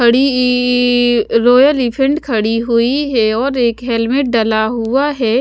ई royal elephant खड़ी हुईं हैं और एक हेलमेट डला हुआ हैं।